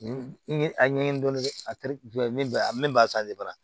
N ye a ɲɛɲini dɔɔni dɛ a tɛ jumɛn a min b'a